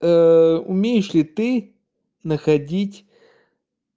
умеешь ли ты находить